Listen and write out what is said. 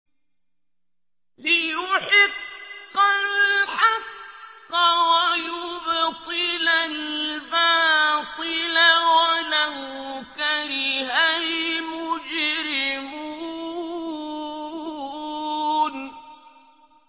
لِيُحِقَّ الْحَقَّ وَيُبْطِلَ الْبَاطِلَ وَلَوْ كَرِهَ الْمُجْرِمُونَ